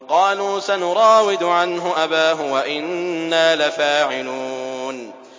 قَالُوا سَنُرَاوِدُ عَنْهُ أَبَاهُ وَإِنَّا لَفَاعِلُونَ